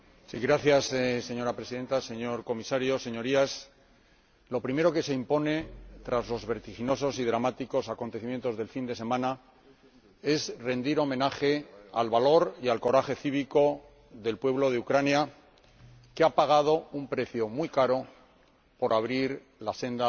Señora Presidenta, señor Comisario, señorías, lo primero que se impone, tras los vertiginosos y dramáticos acontecimientos del fin de semana, es rendir homenaje al valor y al coraje cívico del pueblo de Ucrania, que ha pagado un precio muy caro por abrir la senda hacia la libertad.